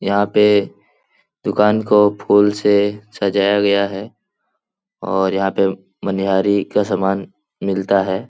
यहा पे दुकान को फूल से सजाया गया है और यहां पे मनयाहरी का समान मिलता है।